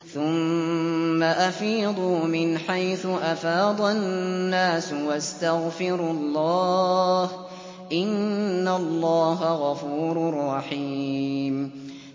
ثُمَّ أَفِيضُوا مِنْ حَيْثُ أَفَاضَ النَّاسُ وَاسْتَغْفِرُوا اللَّهَ ۚ إِنَّ اللَّهَ غَفُورٌ رَّحِيمٌ